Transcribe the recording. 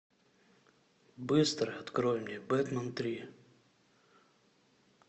быстро открой мне бэтмен три